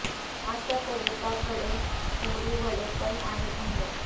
आज त्या कविता कडे कोंबडी वडे पण आहेत म्हणे